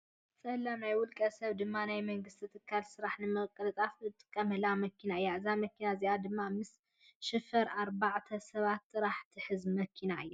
ፀላም ናይ ውልቀ ሰብ ድማ ናይ መንግስቲ ትካላት ስራሕ ንምቅልጣፍ እንጠቀመላ መኪና እያ። እዛ መኪና እዚኣ ድማ ምስ ሽፈር ኣርባዕተ ሰባት ጥራሕ ትሕዝ መኪና እያ።